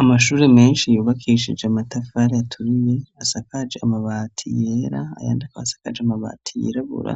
Amashure menshi yubakishije amatafari aturiye asakaje amabati yera ,ayandi asakaje amabati yirabura